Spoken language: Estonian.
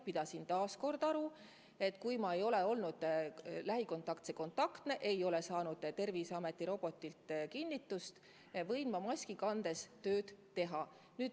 Pidasin taas aru ja leidsin, et kui ma ei ole olnud haige inimesega lähikontaktis ega ole saanud Terviseameti robotilt mingit teadet, siis võin ma maski kandes tööd teha.